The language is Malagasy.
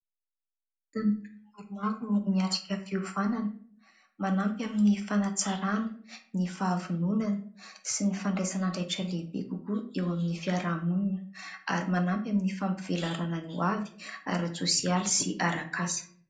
Tanora maromaro miatrika fiofanana manampy amin'ny fanatsarana ny fahavononana sy ny fandraisana andraikitra lehibe kokoa eo amin'ny fiaramonina ary manampy amin'ny fampivelarana ny hoavy "ara-tsosialy" sy arak'asa.